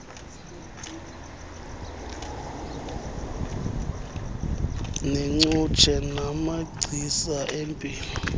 neengcutshe namagcisa empilo